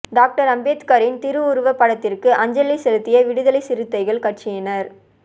doctor அம்பேத்கரின் திருஉருவ படத்திற்கு அஞ்சலி செலுத்திய விடுதலை சிறுத்தைகள் கட்சியினா்